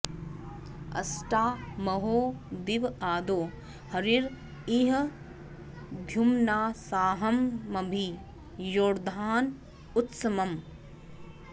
अ॒ष्टा म॒हो दि॒व आदो॒ हरी॑ इ॒ह द्यु॑म्ना॒साह॑म॒भि यो॑धा॒न उत्स॑म्